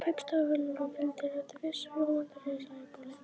Kaupstaðarferðum fylgdi alltaf viss eftirvænting í Sæbóli.